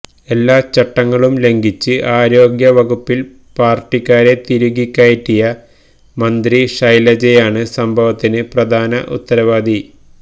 എല്ലാ ചട്ടങ്ങളും ലംഘിച്ച് ആരോഗ്യവകുപ്പിൽ പാർട്ടിക്കാരെ തിരുകിക്കയറ്റിയ മന്ത്രി ശൈലജയാണ് സംഭവത്തിന് പ്രധാന ഉത്തരവാദി